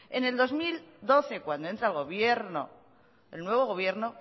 en el dos mil doce cuando entra el nuevo gobierno